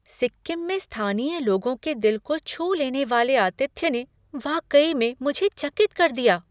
सिक्किम में स्थानीय लोगों के दिल को छू लेने वाले आतिथ्य ने वाकई में मुझे चकित कर दिया।